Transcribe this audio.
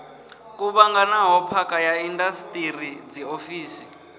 kuvhanganaho phakha ya indasiṱiri dziofisi